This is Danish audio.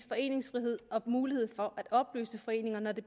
foreningsfrihed og mulighed for at opløse foreninger når det